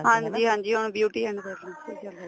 ਹਾਂਜੀ ਹਾਂਜੀ beauty and wellness ਦੇ ਜਿਆਦਾ ਨੇ